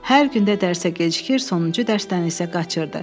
Hər gün də dərsə gecikir, sonuncu dərsdən isə qaçırdı.